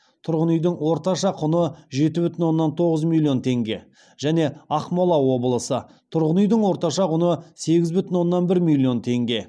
тұрғын үйдің орташа құны жеті бүтін оннан тоғыз миллион теңге және ақмола облысы тұрғын үйдің орташа құны сегіз бүтін оннан бір миллион теңге